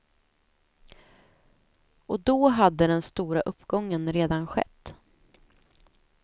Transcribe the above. Och då hade den stora uppgången redan skett.